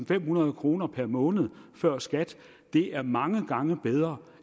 femhundrede kroner per måned før skat er mange gange bedre